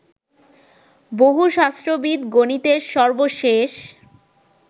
বহুশাস্ত্রবিদ গনিতের সর্বশেষ